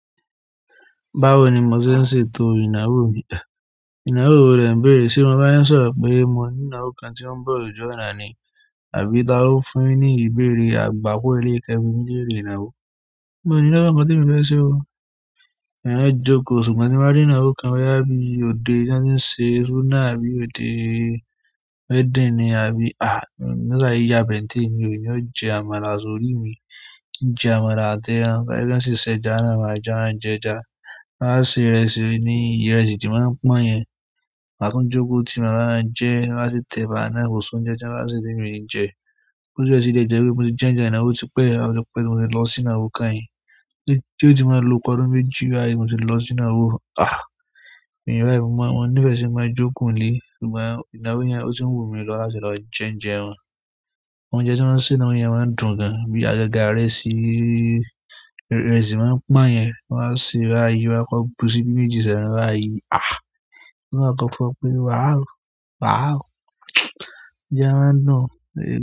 Báwo ni mo ṣe ń ṣètò ìnáwó mi? Ìnáwó wo lẹ ń bèrè. Ṣé mo ba yin sọ̀rọ̀ pé mo ní ìnáwó kan tí ó ń bọ̀ lójoojúmọ́ ni? Àbí ta lo fún yin ni ìbéèrè agbako eleyi ti ẹ n bimi lere ìnáwó. Mi o ni ìnáwó kàn tí emi fẹ se o. Mofe jókòó ṣùgbọ́n tí mo bá rí ìnáwó kan boya bí òde tí wọ́n ṣe súná àbí òde wedding ni àbí à emi saare yabe ntémi o, èmi ó jẹ àmàlà sórí mi. njẹ àmàlà àti ẹran, tobasi ṣe sẹ́jà na àjàà n jẹja. Tọn bá se ìrẹsì ni, ìrẹsì tí máa ń pọ́n yẹn. Maá tún jókòó tí màbáwan ń jẹ, tọ́n bá sì tẹ̀bà náà kòsi óńjẹ tan baaná, kọ́si onje tì mí jẹ. Ki tiense ónje ìnáwó tí pẹ́, óti pẹ̀ tí mo ti lọ sí ìnáwó kan yìí. Tí ó ti máa lo ọ̀pọ̀ ọdún méjì wá yìí mo sì lọ sí ìnáwó. Ah! Mefe ní ìfẹ́ sí máa jókòó nílé. Ṣùgbọ́n ìnáwó yẹn ó tì wùmí lọ láti lọ jẹ oúnjẹ wọn. Oúnjẹ tí wọ́n ń ṣe ni inawọ yẹn máa ń dùn gan. Bí àgaga irẹ́sì, ìrẹsì timo ń pọ́n yẹn, wọ́n bá se bá yi, wọ́n á kọ bú ṣì bí méjì sẹ́nu bá yi. Ah! Wọ́n máa kọ kọ pé wàó, wàó! Oúnjẹ máa ń dùn gan.